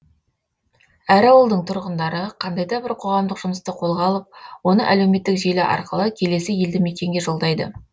әр ауылдың тұрғындары қандай да бір қоғамдық жұмысты қолға алып оны әлеуметтік желі арқылы келесі елді мекенге жолдайды